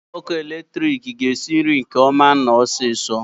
Igwe ọkụ eletrik ga-esi nri nke ọma na osiso.